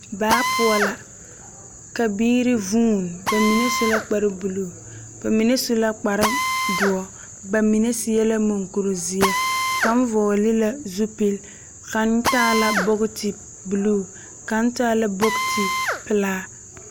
Baa poͻ la, ka biiri vuuni, ba mine su la kpare buluu, ba mine su la kpare dͻre, ba mine seԑ la muŋkuri zeԑ. Kaŋ vͻgele la zupili, kaŋ taa la bogiti buluu, kaŋ taa la bogiti pelaa.